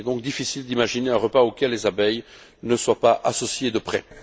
Il est donc difficile d'imaginer un repas auquel les abeilles ne soient pas associées de près.